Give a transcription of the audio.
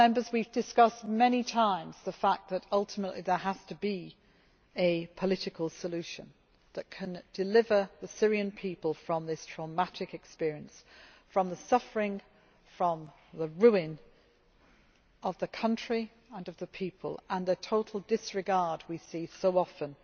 We have discussed many times the fact that ultimately there has to be a political solution that can deliver the Syrian people from this traumatic experience, from the suffering and the ruin of the country and of the people and the total disregard we see so often